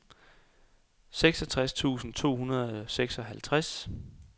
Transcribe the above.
seksogtres tusind to hundrede og seksoghalvtreds